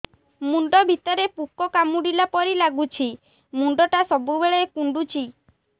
ମୁଣ୍ଡ ଭିତରେ ପୁକ କାମୁଡ଼ିଲା ପରି ଲାଗୁଛି ମୁଣ୍ଡ ଟା ସବୁବେଳେ କୁଣ୍ଡୁଚି